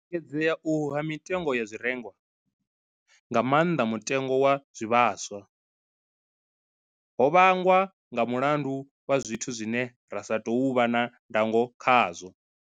U engedzea uhu ha mitengo ya zwirengwa, nga maanḓa mutengo wa zwivhaswa, ho vhangwa nga mulandu wa zwithu zwine ra sa tou vha na ndango khazwo.